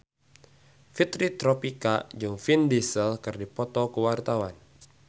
Fitri Tropika jeung Vin Diesel keur dipoto ku wartawan